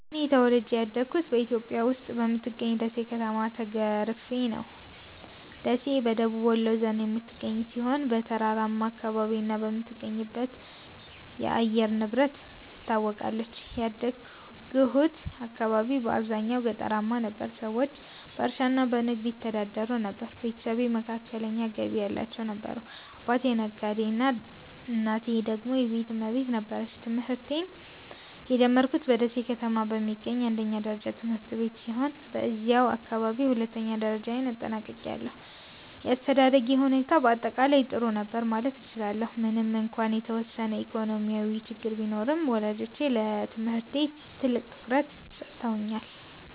እኔ ተወልጄ ያደግሁት በኢትዮጵያ ውስጥ በምትገኘው ደሴ ከተማ ተገርፌ ነው። ደሴ በደቡብ ወሎ ዞን የምትገኝ ሲሆን፣ በተራራማ አካባቢና በምትገኝበት የአየር ንብረት ትታወቃለች። ያደግሁት አካባቢ በአብዛኛው ገጠራማ ነበር፤ ሰዎቹ በእርሻና በንግድ ይተዳደሩ ነበር። ቤተሰቤ መካከለኛ ገቢ ያላቸው ነበሩ፤ አባቴ ነጋዴ እናቴ ደግሞ የቤት እመቤት ነበረች። ትምህርቴን የጀመርኩት በደሴ ከተማ በሚገኝ አንደኛ ደረጃ ትምህርት ቤት ሲሆን፣ በዚያው አካባቢ ሁለተኛ ደረጃዬንም አጠናቅቄያለሁ። የአስተዳደጌ ሁኔታ በአጠቃላይ ጥሩ ነበር ማለት እችላለሁ፤ ምንም እንኳን የተወሰነ ኢኮኖሚያዊ ችግር ቢኖርም፣ ወላጆቼ ለትምህርቴ ትልቅ ትኩረት ሰጥተውኛል።